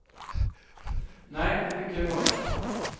Nej, det fick jag ju hålla med om.